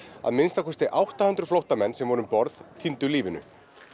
að minnsta kosti átta hundruð flóttamenn sem voru um borð týndu lífinu